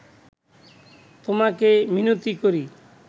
তোমাকে মিনতি করি